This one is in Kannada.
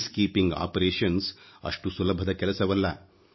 ಶಾಂತಿ ಕಾರ್ಯ ಅಷ್ಟು ಸುಲಭದ ಕೆಲಸವಲ್ಲ